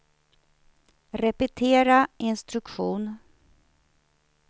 repetera instruktion